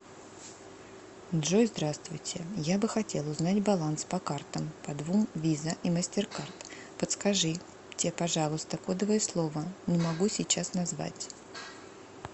джой здравствуйте я бы хотел узнать баланс по картам по двум виза и мастеркард подскажите пожалуйста кодовое слово ну могу сейчас назвать